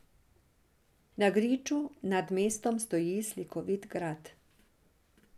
Na griču nad mestom stoji slikovit grad.